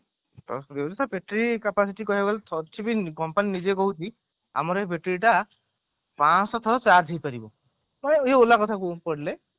cross କରି ଯାଉଛି ତ battery capacity କହିବାକୁ ଗଲେ company ନିଜେ କହୁଛି ମର ଇଏ battery ଟା ପଞ୍ଚସହ ଥର charge ହେଇପାରିବ ମାନେ ଇଏ ola କଥା କହିଲେ